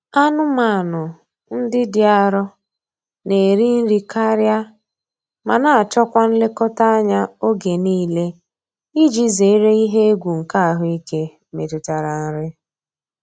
Anụmanụ ndị dị arọ na-eri nri karịa ma na-achọ kwa nlekọta anya oge niile iji zere ihe egwu nke ahụike metụtara nri.